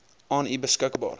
aan u beskikbaar